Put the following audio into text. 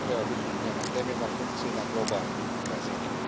To treba biti njena temeljna funkcija i na globalnoj razini.